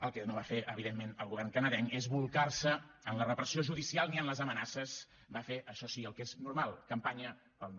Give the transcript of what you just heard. el que no va fer evidentment el govern canadenc és bolcar se en la repressió judicial ni en les amenaces va fer això sí el que és normal campanya pel no